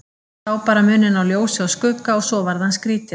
Sá bara muninn á ljósi og skugga og svo varð hann skrítinn.